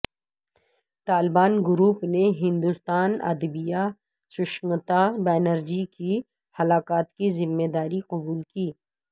Taliban group نے ہندوستانی ادیبہ سشمتا بنرجی کی ہلاکت کی ذمہ داری قبول کی